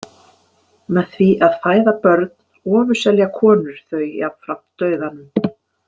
Með því að fæða börn ofurselja konur þau jafnframt dauðanum.